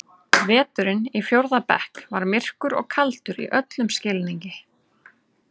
Veturinn í fjórða bekk var myrkur og kaldur í öllum skilningi.